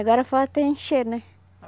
Agora falta encher, né?